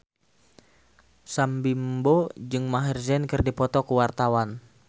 Sam Bimbo jeung Maher Zein keur dipoto ku wartawan